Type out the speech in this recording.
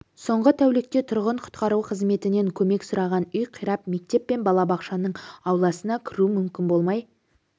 соңғы тәулікте тұрғын құтқару қызметінен көмек сұраған үй қирап мектеп пен балабақшаның ауласына кіру мүмкін болмай